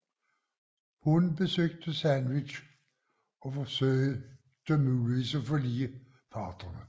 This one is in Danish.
Hun besøgte Sandwich og forsøgte muligvis at forlige parterne